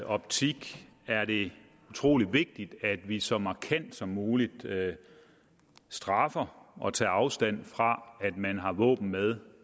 optik er det utrolig vigtigt at vi så markant som muligt straffer og tager afstand fra at man har våben med